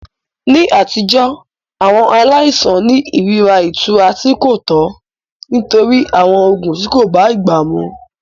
Ní àtijọ́, àwọn aláìsàn ní ìrírí ìtura tí kò tọ́ nítorí àwọn oògùn tí kò bá ìgbà mu.